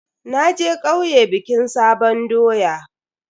Naje kauye bikin sabon doya.